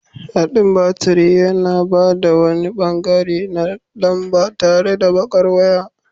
Haɗin baturi yana ba da wani ɓangare na lamba tare da baƙar waya.